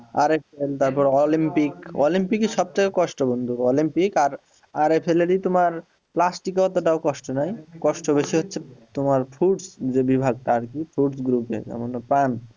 RSL তারপর Olympic, অলিম্পিকের সবচেয়ে কষ্ট বন্ধু অলিম্পিক আর RSL ই তোমার প্লাস্টিককে অতটা কষ্ট নাই কষ্ট বেশি হচ্ছে fruits যদি তোমার প্রাণ।